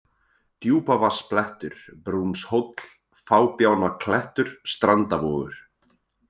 Djúpavatnsblettur, Brúnshóll, Fábjánaklettur, Strandavogur